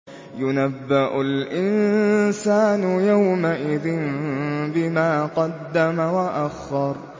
يُنَبَّأُ الْإِنسَانُ يَوْمَئِذٍ بِمَا قَدَّمَ وَأَخَّرَ